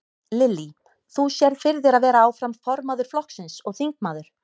Lillý: Þú sérð fyrir þér að vera áfram formaður flokksins og þingmaður?